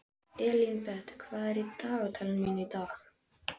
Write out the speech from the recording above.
Elínbet, hvað er í dagatalinu mínu í dag?